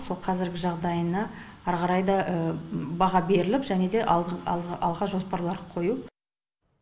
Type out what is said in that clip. сол қазіргі жағдайына ары қарай да баға беріліп және де алға жоспарлар қою